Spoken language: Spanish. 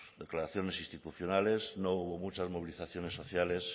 declaraciones institucionales no hubo muchas movilizaciones sociales